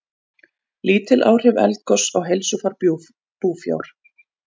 Lítil áhrif eldgoss á heilsufar búfjár